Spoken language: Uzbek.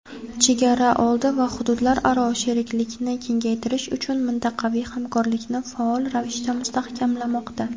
chegaraoldi va hududlararo sheriklikni kengaytirish uchun mintaqaviy hamkorlikni faol ravishda mustahkamlamoqda.